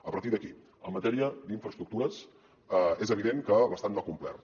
a partir d’aquí en matèria d’infraestructures és evident que l’estat no ha complert